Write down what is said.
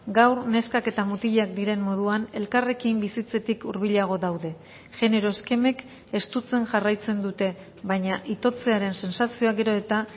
gaur neskak eta mutilak diren moduan elkarrekin bizitzetik hurbilago daude genero eskemek estutzen jarraitzen dute baina itotzearen sentsazioa gero eta